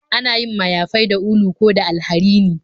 Ana yin mayafai da ulu ko da alharini